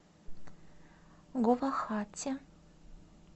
гувахати